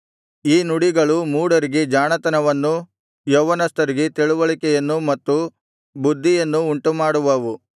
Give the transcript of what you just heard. ಈ ನುಡಿಗಳು ಮೂಢರಿಗೆ ಜಾಣತನವನ್ನೂ ಯೌವನಸ್ಥರಿಗೆ ತಿಳಿವಳಿಕೆಯನ್ನು ಮತ್ತು ಬುದ್ಧಿಯನ್ನು ಉಂಟುಮಾಡುವವು